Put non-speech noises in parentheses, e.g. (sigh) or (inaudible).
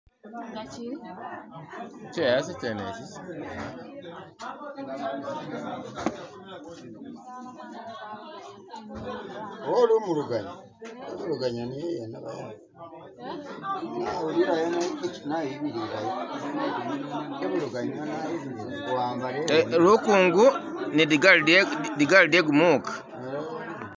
(skip)